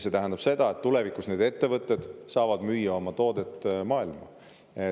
See tähendab, et tulevikus saavad need ettevõtted müüa oma toodet maailma.